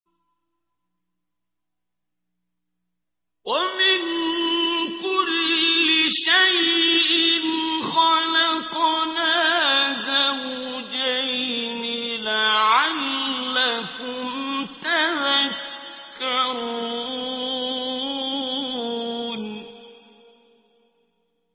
وَمِن كُلِّ شَيْءٍ خَلَقْنَا زَوْجَيْنِ لَعَلَّكُمْ تَذَكَّرُونَ